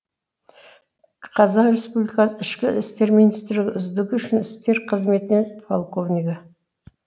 қазақ республикасы ішкі істер министрлігі үздігі ішкі істер қызметінен полковнигі